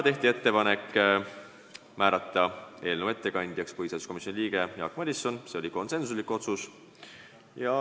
Tehti ettepanek määrata eelnõu ettekandjaks põhiseaduskomisjoni liige Jaak Madison, see oli konsensuslik otsus.